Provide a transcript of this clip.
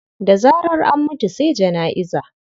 Da zarar an mutu sai jana'iza.